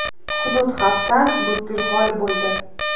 Hudud xavfdan butkul xoli bo‘ldi.